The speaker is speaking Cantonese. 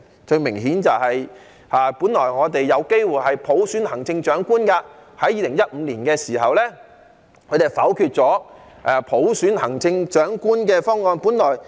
最明顯的是，我們本來有機會普選行政長官，在2015年他們否決了普選行政長官的方案。